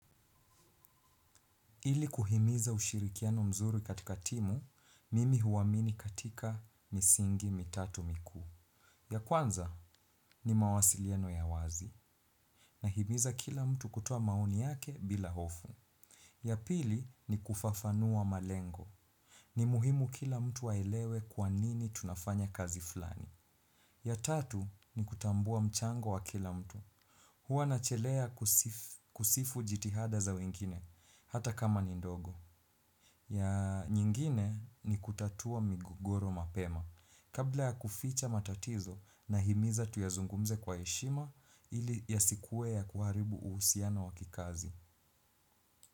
Ili kuhimiza ushirikiano mzuri katika timu, mimi huamini katika misingi mitatu mikuu. Ya kwanza ni mawasiliano ya wazi. Nahimiza kila mtu kutoa maoni yake bila hofu. Ya pili ni kufafanua malengo. Ni muhimu kila mtu aelewe kwa nini tunafanya kazi flani. Ya tatu ni kutambua mchango wa kila mtu. Huwa nachelea kusifu jitihada za wengine, hata kama ni ndogo. Ya nyingine ni kutatua migogoro mapema. Kabla ya kuficha matatizo nahimiza tuyazungumze kwa heshima ili yasikuwe ya kuharibu uhusiano wa kikazi.